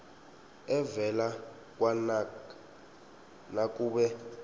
evela kwanac nakube